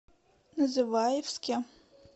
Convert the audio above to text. называевске